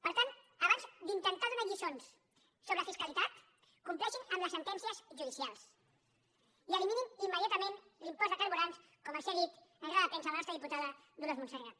per tant abans d’intentar donar lliçons sobre fiscalitat compleixin amb les sentències judicials i eliminin im·mediatament l’impost de carburants com els ha dit en roda de premsa la nostra diputada dolors montserrat